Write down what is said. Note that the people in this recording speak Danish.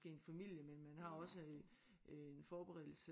Måske en familie men man har også en forberedelse